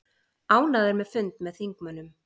Ánægður með fund með þingmönnum